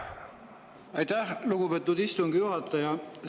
Aitäh, lugupeetud istungi juhataja!